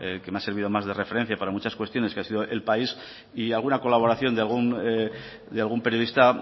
que me ha servido más de referencia para muchas cuestiones que ha sido el país y alguna colaboración de algún periodista